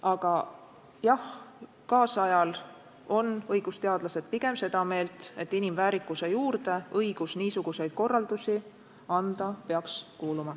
Aga jah, tänapäeval on õigusteadlased pigem seda meelt, et inimväärikuse juurde õigus niisuguseid korraldusi anda peaks kuuluma.